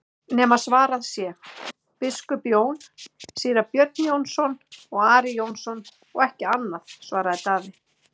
nema svarað sé:-Biskup Jón, Síra Björn Jónsson og Ari Jónsson og ekki annað, svaraði Daði.